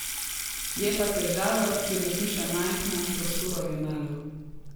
Je pa težava, ker je hiša majhna, prostorov je malo.